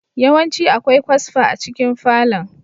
Yawanci akwai kwasfa a cikin falon.